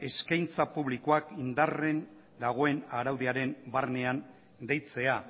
eskaintza publikoak indarren dagoen araudiaren barnean deitzea